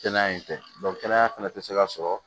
Kɛnɛya in tɛ kɛnɛya fana tɛ se ka sɔrɔ